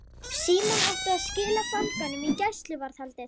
Símon átti að skila fanganum í gæsluvarðhaldið.